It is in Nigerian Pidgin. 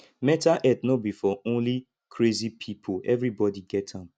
mental health no be for only crazy pipo everybody get am